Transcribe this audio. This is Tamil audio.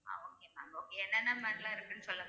ஆஹ் okay ma'am okay என்னனென்ன மாதிரிலா இருக்குனு சொல்லுங்க